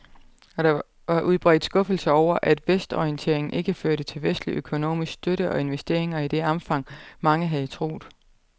Og der var udbredt skuffelse over, at vestorienteringen ikke førte til vestlig økonomisk støtte og investeringer i det omfang, mange havde troet.